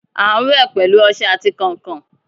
A n wẹ pẹlu ọṣẹ ati kánkan